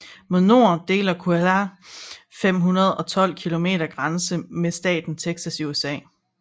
Mod nord deler Coahuila 512 km grænse med staten Texas i USA